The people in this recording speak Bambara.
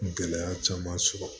Gɛlɛya caman sɔrɔ